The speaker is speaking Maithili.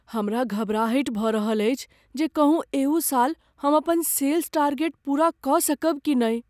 हमरा घबराहटि भऽ रहल अछि जे कहूँ एहू साल हम अपन सेल्स टारगेट पूरा कऽ सकब कि नहि ।